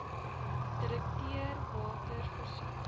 direkteur water voorsien